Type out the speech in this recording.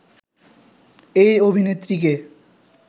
এই অভিনেত্রীকে